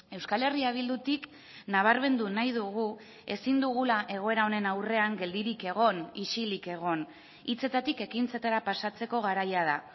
euskal herria bildutik nabarmendu nahi dugu ezin dugula egoera honen aurrean geldirik egon isilik egon hitzetatik ekintzetara pasatzeko garaia da